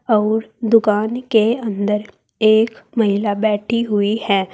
अउर दुकान के अंदर एक महिला बैठी हुई है।